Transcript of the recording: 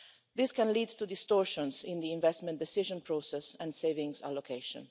This can lead to distortions in the investment decision process and savings allocation.